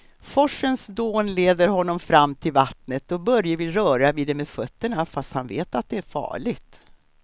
Forsens dån leder honom fram till vattnet och Börje vill röra vid det med fötterna, fast han vet att det är farligt.